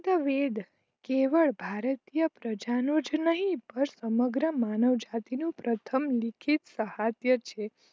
વેદ કેવડ ભારતીય પ્રજાનો જ નહીં પણ સમગ્ર માનવ જાતિ નું પ્રથમ લેખિત શાહતયા છે